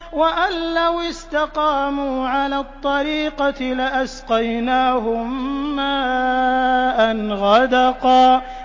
وَأَن لَّوِ اسْتَقَامُوا عَلَى الطَّرِيقَةِ لَأَسْقَيْنَاهُم مَّاءً غَدَقًا